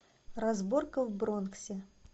разборка в бронксе